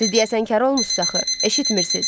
Siz deyəsən kar olmusunuz axı, eşitmirsiniz.